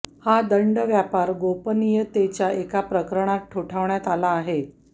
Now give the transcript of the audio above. हा दंड व्यापार गोपनीयतेच्या एका प्रकरणात ठोठावण्यात आला आहे